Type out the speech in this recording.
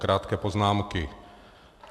Krátké poznámky.